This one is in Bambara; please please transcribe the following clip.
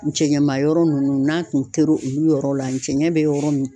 N cɛɲɛma yɔrɔ nunnu n'a kun tɛr'olu yɔrɔ la cɛɲɛ bɛ yɔrɔ min.